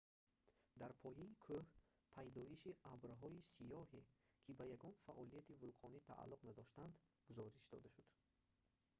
дар пояи кӯҳ пайдоиши абрҳои сиёҳе ки ба ягон фаъолияти вулқонӣ тааллуқ надоштанд гузориш дода шуд